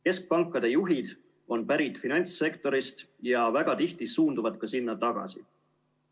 Keskpankade juhid on pärit finantssektorist ja väga tihti suunduvad ka sinna tagasi.